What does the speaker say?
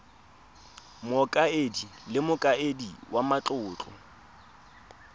mokaedi le mokaedi wa matlotlo